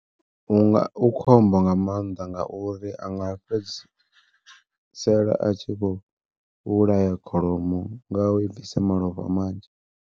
U khombo nga maanḓa nga uri a nga fhedzisela a tshi vho vhulaya kholomo nga u i bvisa malofha manzhi.